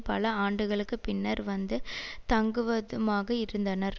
பல ஆண்டுகளுக்கு பின்னர் வந்து தங்குவதுமாக இருந்தனர்